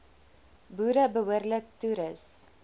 boere behoorlik toerus